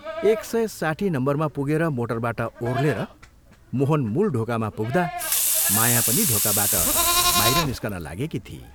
एक सय साठी नम्बरमा पुगेर मोटरबाट ओह्रलेर मोहन मूल ढोकामा पुग्दा माया पनि ढोकाबाट बाहिर निस्कन लागेकी थिई।